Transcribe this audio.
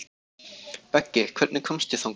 Beggi, hvernig kemst ég þangað?